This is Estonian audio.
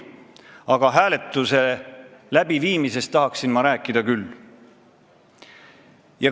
Aga hääletuse läbiviimisest tahan ma rääkida küll.